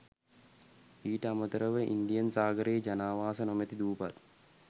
ඊට අමතරව ඉන්දියන් සාගරයේ ජනාවාස නොමැති දූපත්